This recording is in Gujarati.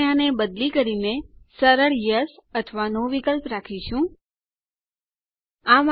આપણે આને બદલી કરીને સરળ યેસ હા અથવા નો ના વિકલ્પ દર્શાવવા માટે બદલીશું